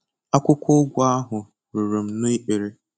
Akwụkwọ ụgụ ahụ ruru m n'ikpere.